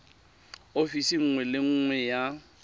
ofising nngwe le nngwe ya